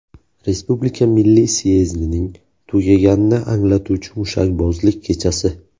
Respublika milliy syezdining tugaganini anglatuvchi mushakbozlik kechasi.